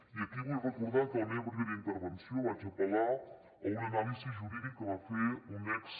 i aquí vull recordar que en la meva primera intervenció vaig apel·lar a una anàlisi jurídica que va fer un ex